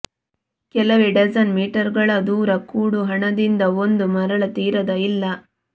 ಕೆಲವೇ ಡಜನ್ ಮೀಟರುಗಳ ದೂರ ಕೂಡುಹಣದಿಂದ ಒಂದು ಮರಳ ತೀರದ ಇಲ್ಲ